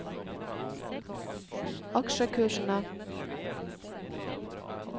aksjekursene